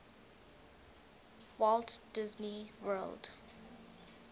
walt disney world